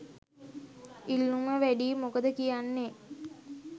ඉල්ලුම වැඩියි මොකද කියන්නෙ?